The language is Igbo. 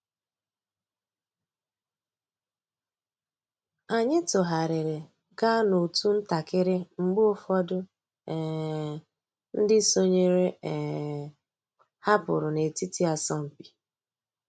Ányị́ tụ́ghàrị́rị́ gàá n'otu ntakị́rị́ mg̀bé ụ́fọ̀dụ́ um ndị́ sònyééré um hàpụ́rụ́ n'ètìtí àsọ̀mpị́.